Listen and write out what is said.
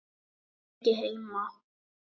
Ég er ekki heima.